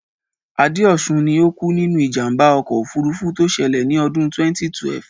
Adéọ̀ṣun ni ó kú nínú ìjàmbá ọkọ̀ òfurufú tó ṣẹlẹ̀ ní ọdún 2012.